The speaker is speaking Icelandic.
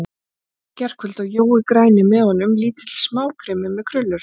Hrauninu í gærkvöldi og Jói græni með honum, lítill smákrimmi með krullur.